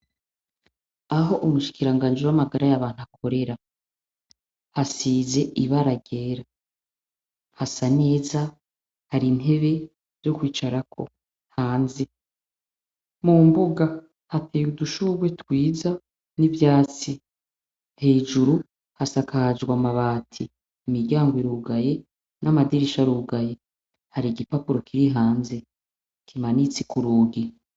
Aho umushikiranganji w'amagara y'abantu akorera, hasize ibara ryera, hasa neza, hari intebe zo kwicarako hanze, mu mbuga hateye udushurwe twiza n'ivyatsi, hejuru hasakajwe amabati, imiryango irugaye n'amadirisha arugaye, hari igipapuro kiri hanze kimanitse k'urugi.